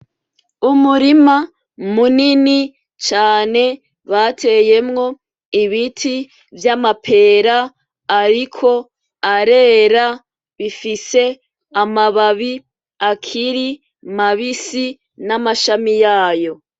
Umurima munini cane bateyemwo ibiti vy'amapera ariko arera bifise amababi akiri mabisi n'amashami yayo.